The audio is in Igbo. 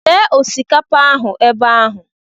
Lee osikapa ahụ ebe ahụ.